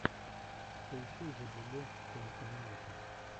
поищи зэблюбле соник энимэйшенс